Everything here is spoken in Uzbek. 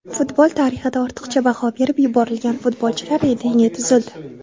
Futbol tarixida ortiqcha baho berib yuborilgan futbolchilar reytingi tuzildi.